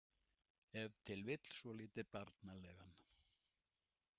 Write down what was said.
Ef til vill svolítið barnalegan.